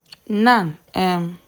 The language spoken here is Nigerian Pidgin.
nan um